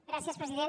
gràcies president